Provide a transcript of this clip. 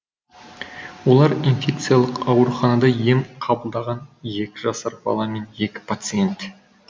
олар инфекциялық ауруханада ем қабылдаған екі жасар бала мен екі пациент